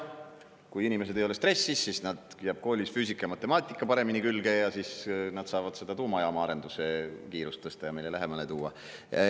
Kui inimesed ei ole stressis, jääb koolis füüsika ja matemaatika paremini külge ja siis nad saavad seda tuumajaama arenduse kiirust tõsta ja meile lähemale tuua.